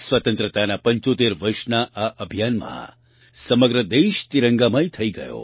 સ્વતંત્રતાનાં 75 વર્ષના આ અભિયાનમાં સમગ્ર દેશ તિરંગામય થઈ ગયો